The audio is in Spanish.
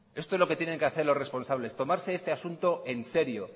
esto es lo que tienen que hacer los responsables tomarse este asunto en serio